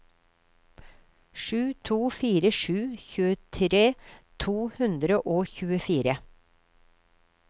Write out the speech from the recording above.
sju to fire sju tjuetre to hundre og tjuefire